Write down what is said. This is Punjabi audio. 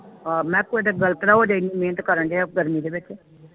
ਆਹ ਮੈਂ ਕੁਛ ਗਲਤ ਨਾ ਹੋ ਜਾਵੇ ਇਨੀ ਮਿਹਨਤ ਕਰਨ ਦਿਆਂ ਗਰਮੀ ਦੇ ਵਿਚ